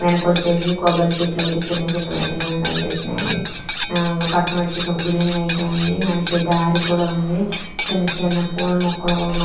వెన్నకొచ్చేసి కొబ్బరి చెట్లయితే చిన్న చిన్నవి ఐతే మనకి కనిపిస్తున్నాయి అండి. ఆహ్ పక్కన ఓచేసి ఒక బిల్డింగ్ ఐతే ఉంది.నడిసే దారి ఉంది. చిన్న చిన్న పుల్ల మొక్కలు మనకు--